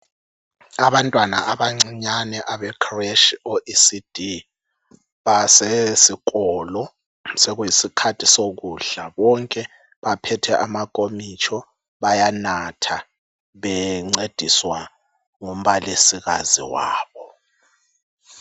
Abantwana abancinyane abecreche o ECD basesikolo. Sokuyisikhathi sokudla, bonke baphethe amakomitsho bayanatha bencediswa ngumbalisikazi wabo.